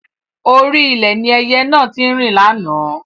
Orí ilẹ̀ ni ẹyẹ náà tí ń rìn láánaà